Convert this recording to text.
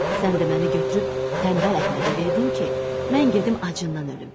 Sən də məni götürüb tənbəl Əhmədə verdin ki, mən gedim acından ölüm.